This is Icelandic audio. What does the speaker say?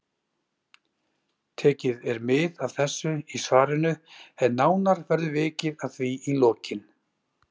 Tekið er mið af þessu í svarinu en nánar verður vikið að því í lokin.